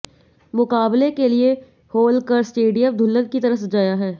मुकाबले के लिए होलकर स्टेडियम दुल्हन की तरह सजाया है